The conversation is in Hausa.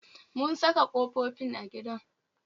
Mun saka kofofin a gidan